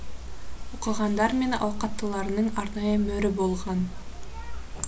оқығандар мен ауқаттыларының арнайы мөрі болған